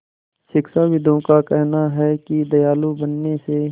शिक्षाविदों का कहना है कि दयालु बनने से